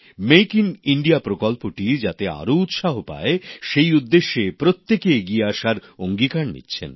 make in India প্রকল্পটি যাতে আরও উৎসাহ পায় সেই উদ্দেশ্যে প্রত্যেকে এগিয়ে আসার অঙ্গীকার করছেন